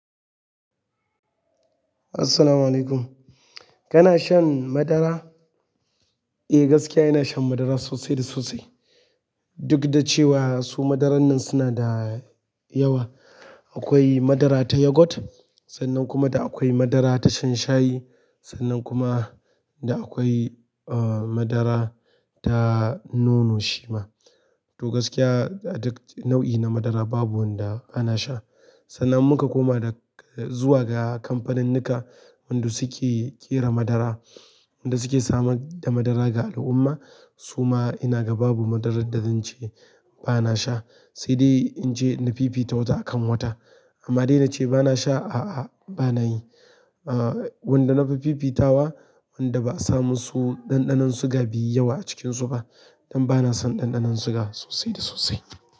Assalamu alaikum. Kana shan madara? Eh, gaskiya ina shan madara sosai da sosai. Duk da cewa su madaran nan suna da yawa. Akwai madara ta yogurt sannan kuma da akwai madara ta shan shayi sannan kuma da akwai, uh, madara ta nono shima. To gaskiya, a duk nau'i na madara babu wanda bana sha. Sannan muka koma da zuwa ga kamfaninnika, wanda suke ƙera madara, wanda suke samar da madara ga al'umma. Su ma ina ga babu madarar da zan ce bana sha. Sai dai in ce na fifita wata akan wata. Amma dai na ce bana sha, a'a bana yi. Wanda na fi fifitawa, wanda ba a samusu ɗanɗanon sugar baiyi yawa a cikin su ba don bana son ɗanɗanon sugar sosai da sosai.